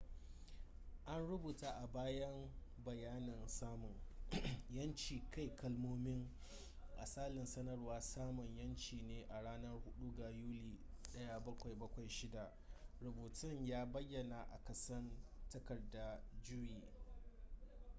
an rubuta a bayan bayanin samun 'yancin kai kalmomin asalin sanarwar samun' yanci ne a ranar 4 ga yuli 1776 rubutun ya bayyana a ƙasan takardar juye